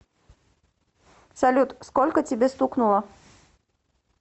салют сколько тебе стукнуло